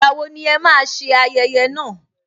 Ìgbà wo ni ẹ máa ṣe ayẹyẹ náà